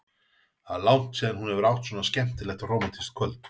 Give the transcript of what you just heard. Það er langt síðan hún hefur átt svona skemmtilegt og rómantískt kvöld.